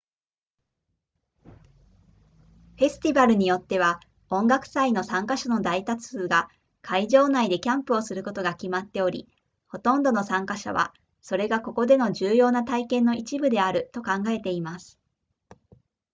フェスティバルによっては音楽祭の参加者の大多数が会場内でキャンプをすることが決まっておりほとんどの参加者はそれがここでの重要な体験の一部であると考えています